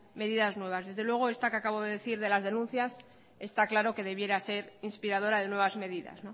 medidas nuevas desde luego esta que acabo de decir de las denuncias está claro que debiera ser inspiradora de nuevas medidas